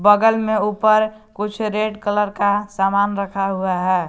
बगल में ऊपर कुछ रेड कलर का सामान रखा हुआ है।